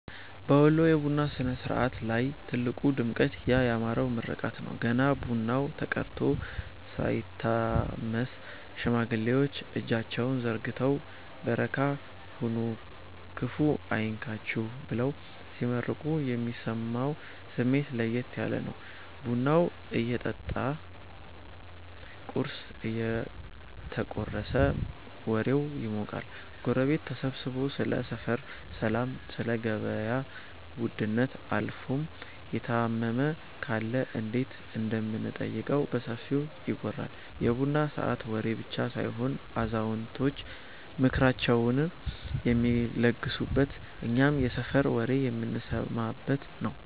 በወሎ የቡና ሥነ-ሥርዓት ላይ ትልቁ ድምቀት ያ ያማረው ምርቃት ነው። ገና ቡናው ተቀድቶ ሳይታመስ፣ ሽማግሌዎች እጃቸውን ዘርግተው "በረካ ሁኑ፤ ክፉ አይንካችሁ" ብለው ሲመርቁ የሚሰማው ስሜት ለየት ያለ ነው። ቡናው እየጠጣ ቁርስ እየተቆረሰም ወሬው ይሞቃል። ጎረቤት ተሰብስቦ ስለ ሰፈር ሰላም፣ ስለ ገበያ ውድነት አልፎም የታመመ ካለ እንዴት እንደምንጠይቀው በሰፊው ይወራል። የቡና ሰዓት ወሬ ብቻ ሳይሆን አዛውንቶች ምክራቸውን የሚለግሱበት፤ እኛም የሰፈር ወሬ የምንሰማበት ነዉ።